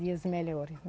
Dias melhores, né?